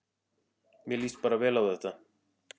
Mér líst bara vel á þetta